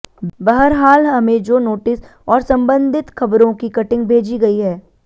बहरहाल हमें जो नोटिस और सम्बंधित खबरों की कटिंग भेजी गई है